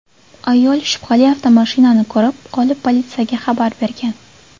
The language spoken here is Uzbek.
Ayol shubhali avtomashinani ko‘rib qolib, politsiyaga xabar bergan.